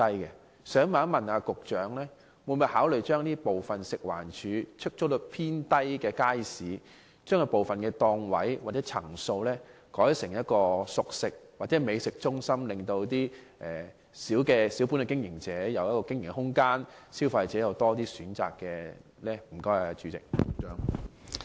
我想問局長，會否考慮把出租率偏低的街市的部分檔位或層數改建成熟食或美食中心，給予小本經營者經營空間，並給予消費者更多選擇？